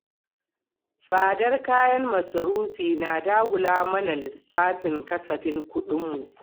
Tsadar kayan masarufi na dagula mana lissafin kasafin kuɗin mu.